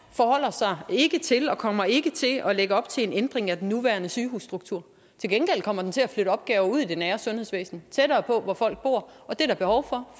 forholder sig ikke til og kommer ikke til at lægge op til en ændring af den nuværende sygehusstruktur til gengæld kommer den til at flytte opgaver ud i det nære sundhedsvæsen tættere på hvor folk bor og det er der behov for